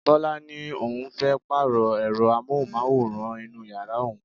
Bọlá ni òun fẹ́ Pààrọ̀ ẹ̀rọ amóhùnmáwòrán inú yàrá òun